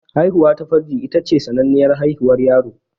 Haihuwa ta farji ita ce sananniyar hanyar haihuwar yaro.